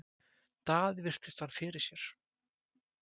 Daði virti hann fyrir sér.